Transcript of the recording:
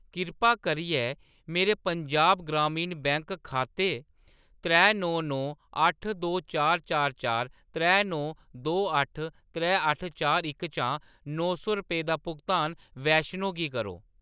कृपा करियै मेरे पंजाब ग्रामीण बैंक खाते त्रै नौ नौ अट्ठ दो चार चार चार त्रै नौ दो अट्ठ त्रै अट्ठ चार इक चा नौ सौ रपेऽ दा भुगतान वैष्णो गी करो।